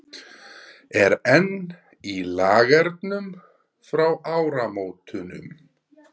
Er enn í Lagernum frá áramótunum?